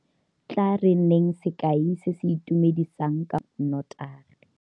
Tla re nneng sekai se se itumedisang ka fao re dirisang notagi.